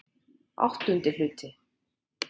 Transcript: VIII Hluti